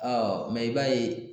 i b'a ye